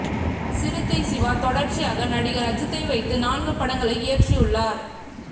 சிறுத்தை சிவா தொடர்ச்சியாக நடிகர் அஜித்தை வைத்து நான்கு படங்களை இயற்றியுள்ளார்